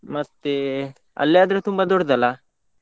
ಮತ್ತೆ, ಅಲ್ಯಾದ್ರೆ ತುಂಬಾ ದೊಡ್ದಲ್ಲ.